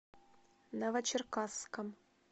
новочеркасском